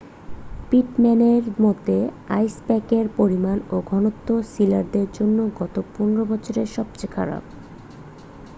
পিটম্যানের মতে আইসপ্যাকের পরিমাণ ও ঘনত্ব সিলারদের জন্য গত15 বছরে সবচেয়ে খারাপ